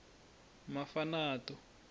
mafanato